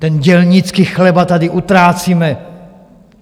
Ten dělnický chleba tady utrácíme!